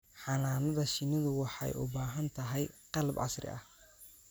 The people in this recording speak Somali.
Xannaanada shinnidu waxay u baahan tahay qalab casri ah.